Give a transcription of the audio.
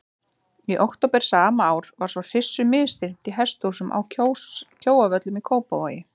Í október sama ár var svo hryssu misþyrmt í hesthúsum að Kjóavöllum í Kópavogi.